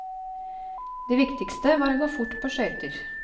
Det viktigste var å gå fort på skøyter.